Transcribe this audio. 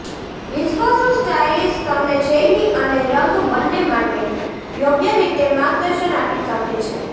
વિશ્વાસુ સ્ટાઈલિશ તમને શૈલી અને રંગ બંને માટે યોગ્ય રીતે માર્ગદર્શન આપી શકે છે